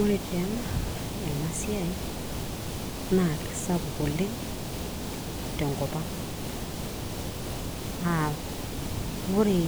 ore taa ena siai naa kisapuk oleng tenkop ang aa ore